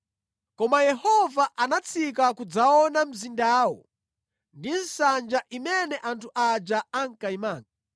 Koma Yehova anatsika kudzaona mzindawo ndi nsanja imene anthu aja ankayimanga.